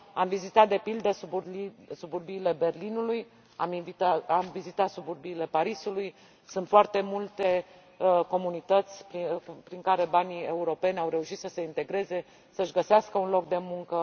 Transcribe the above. Am vizitat, de pildă, suburbiile Berlinului, am vizitat suburbiile Parisului, sunt foarte multe comunități care, prin banii europeni au reușit să se integreze, să și găsească un loc de muncă.